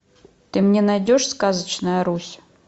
ты мне найдешь сказочная русь